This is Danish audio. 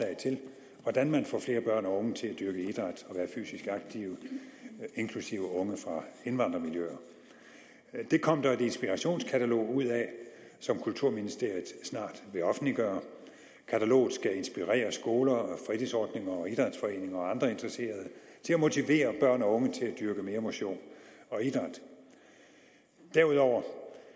hvordan man får flere børn og unge til at dyrke idræt og være fysisk aktive inklusive unge fra indvandrermiljøer det kom der et inspirationskatalog ud af som kulturministeriet snart vil offentliggøre kataloget skal inspirere skoler fritidsordninger idrætsforeninger og andre interesserede til at motivere børn og unge til at dyrke mere motion og idræt derudover